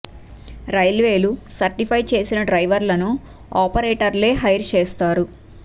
రైల్వేలు సర్టిఫై చేసిన డ్రైవర్లను ఆపరేటర్లే హైర్ చేస్తారు